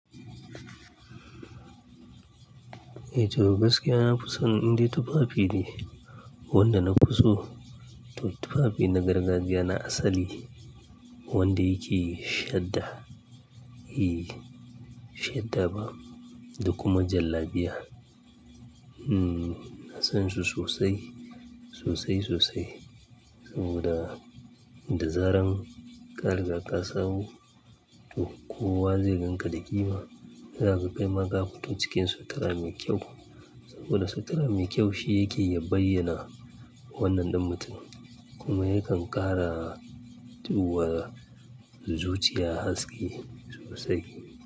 Eh to gaskiya nafi son indai tufafi ne, wanda na fi so to tufafi na gargajiya na asali wanda yake shadda, eh, shadda ba da kuma jallabiya. Uhmm, ina sonsu sosai, sosai sosai saboda da zaran ka riga ka sawo to kowa zai ganka da ƙima. Zakaga kaima ka fito ciki sutura mai kyau wanda sutura mai kyau shi yake ya bayyana wannan ɗin mutum kuma yakan ƙarawa tuwa zuciya haske sosai.